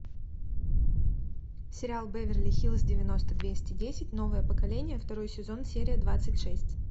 сериал беверли хиллз девяносто двести десять новое поколение второй сезон серия двадцать шесть